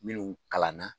Minnu kalanna